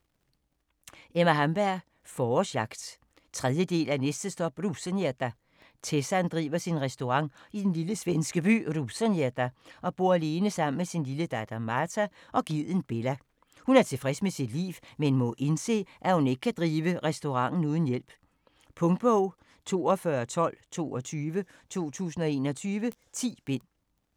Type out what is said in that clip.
Hamberg, Emma: Forårsjagt 3. del af Næste stop Rosengädda!. Tessan driver sin restaurant i den lille svenske by Rosengädda og bor alene sammen med sin lille datter Marta og geden Bella. Hun er tilfreds med sit liv, men må indse at hun ikke kan drive restauranten uden hjælp. Punktbog 421222 2021. 10 bind.